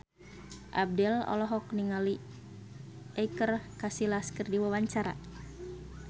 Abdel olohok ningali Iker Casillas keur diwawancara